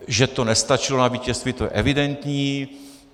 Že to nestačilo na vítězství, to je evidentní.